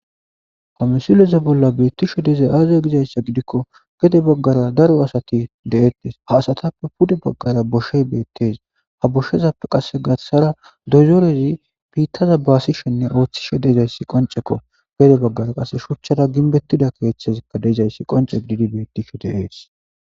kamesileza bolla beettisho dezay aazia gizayssa gidikko gede baggara daro asati de7ettes haasatappe pude baggara boshey beettes ha boshezappe qasse gassara dozorezi piittaza baasishenne ooththishe deizayssi qoncekko gede baggara qase shuchchara ginbettida keeththezikka deizayssi qonce didi beettisho deees